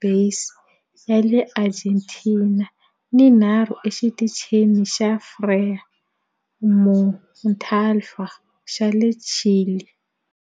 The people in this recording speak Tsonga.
Base ya le Argentina ni tinharhu eXitichini xa Frei Montalva xa le Chile.